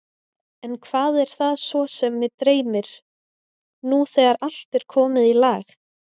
En hvað er það svo sem mig dreymir, nú þegar allt er komið í lag?